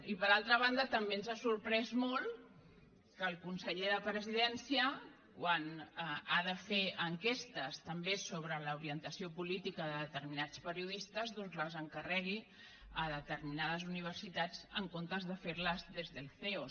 i per altra banda també ens ha sorprès molt que el conseller de la presidència quan ha de fer enquestes també sobre l’orientació política de determinats perio distes doncs les encarregui a determinades universitats en comptes de fer les des del ceo